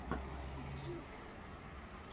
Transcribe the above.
джитиэс